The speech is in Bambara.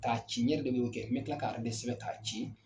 K'a ci ne ɲe de m'o kɛ, n mɛ kila k'a de sɛbɛn k'a ci